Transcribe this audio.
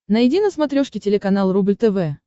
найди на смотрешке телеканал рубль тв